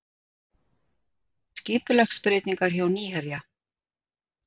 Skipulagsbreytingar hjá Nýherja